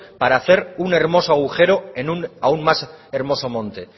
para hacer un hermoso agujero en un aún más hermoso monte